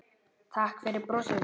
Takk fyrir brosið þitt.